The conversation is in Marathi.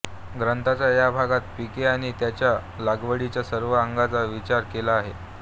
ग्रंथाच्या या भागात पिके आणि त्याच्या लागवडीच्या सर्व अंगांचा विचार केला आहे